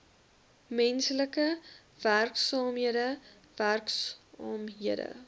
menslike werksaamhede werksaamhede